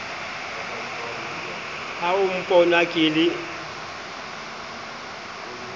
ha o mpona ke le